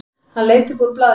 Hann leit upp úr blaðinu.